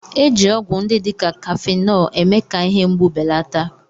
Eji ọgwụ ndị dị ka Kafenọ eme-ka ihe mgbu belata